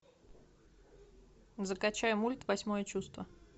закачай мульт восьмое чувство